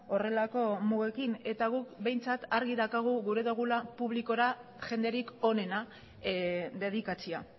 horrelako mugekin eta guk behintzat argi daukagu gura dogula publikora jenderik onena dedikatzea